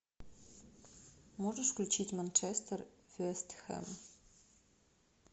можешь включить манчестер вест хэм